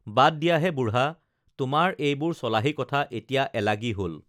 বাদ দিয়াহে বুঢ়া তোমাৰ এইবোৰ চলাহী কথা এতিয়া এলাগী হল